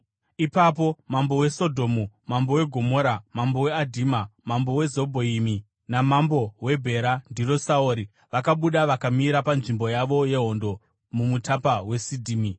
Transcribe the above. Ipapo mambo weSodhomu, mambo weGomora, mambo weAdhima, mambo weZebhoimi namambo weBhera (ndiro, Saori) vakabuda vakamira panzvimbo yavo yehondo muMupata weSidhimi